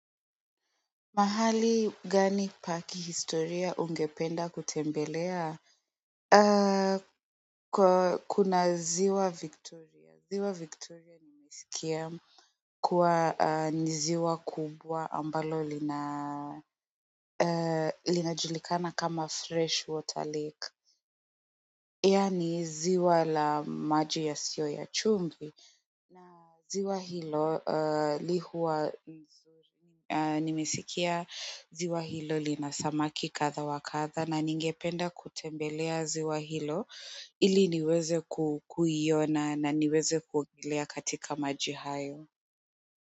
Pahali gani pa kihistoria ungependa kutembelea kuna ziwa Victoria. Ziwa Victoria nimesikia kuwa ni ziwa kubwa ambalo linajulikana kama fresh water lake, yaani ziwa la maji yasiyo ya chumvi, na ziwa hilo huwa nimesikia ziwa hilo lina samaki kadha wa kadha na ningependa kutembelea ziwa hilo ili niweze kukuiona na niweze kuogea katika maji hayo.